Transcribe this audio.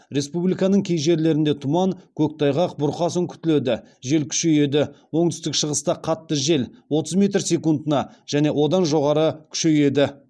республиканың кей жерлерінде тұман көктайғақ бұрқасын күтіледі жел күшейеді оңтүстік шығыста қатты жел отыз метр секундына және одан жоғары күшейеді